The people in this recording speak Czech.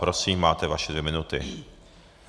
Prosím, máte své dvě minuty.